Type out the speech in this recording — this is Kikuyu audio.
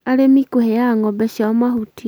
arĩmi kũheaga ng’ombe ciao mahuti.